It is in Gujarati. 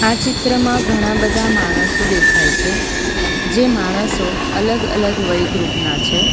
આ ચિત્રમાં ઘણા બધા માણસો દેખાય છે જે માણસો અલગ અલગ વય ગૃપ ના છે.